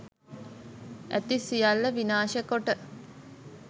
ඇති සියල්ල විනාශ කොට